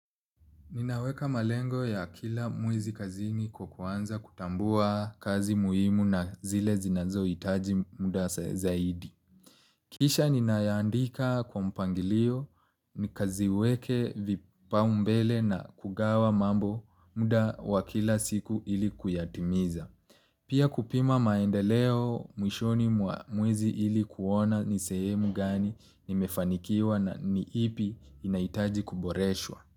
Ninaweka malengo ya kila mwezi kazini kwa kuanza kutambua kazi muhimu na zile zinazo hitaji muda zaidi. Kisha ninayaandika kwa mpangilio nikaziweke vipaumbele na kugawa mambo muda wa kila siku ili kuyatimiza. Pia kupima maendeleo mwishoni mwa mwezi ili kuona ni sehemu gani nimefanikiwa na ni ipi inaitaji kuboreshwa.